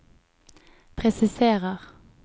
presiserer